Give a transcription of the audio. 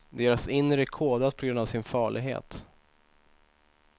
Deras inre är kodat på grund av sin farlighet.